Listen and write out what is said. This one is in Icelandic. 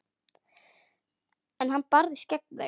En hann barðist gegn þeim.